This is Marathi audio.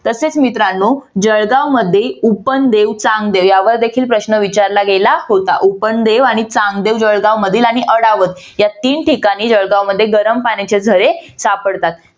तसेच मित्रानो जळगावमध्ये उपनदेव चांगदेव यावर देखील प्रश्न विचारला गेला होता उपनदेव आणि चांगदेव जळगावमधील आणि अडावत या तीन ठिकाणी जळगावमध्ये गरम पाण्याचे झरे सापडतात.